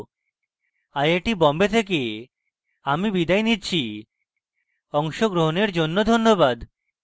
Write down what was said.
I I T Bombay থেকে আমি বিদায় নিচ্ছি অংশগ্রহনের জন্য ধন্যবাদ